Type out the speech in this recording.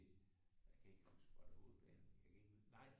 Kan ikke huske var det Hovedbanen jeg kan ikke huske nej